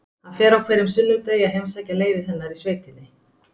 Hann fer á hverjum sunnudegi að heimsækja leiðið hennar í sveitinni.